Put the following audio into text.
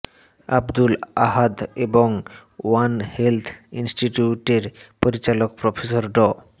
আবদুল আহাদ এবং one health ইনস্টিটিউটের পরিচালক প্রফেসর ড